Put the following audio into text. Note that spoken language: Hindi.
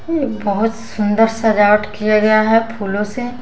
एक बहुत सुंदर सजावट किया गया है फूलों से --